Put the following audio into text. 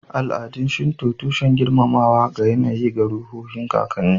Al'adun Shinto, tushen girmamawa ga yAnayi da ruhohin kakanni